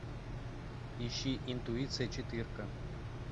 ищи интуиция четырка